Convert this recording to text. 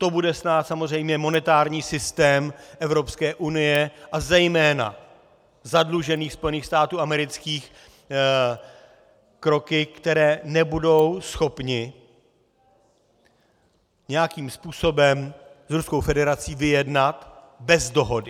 To bude stát samozřejmě monetární systém Evropské unie a zejména zadlužených Spojených států amerických kroky, které nebudou schopny nějakým způsobem s Ruskou federací vyjednat bez dohody.